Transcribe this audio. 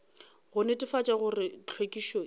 go netefatša gore hlwekišo e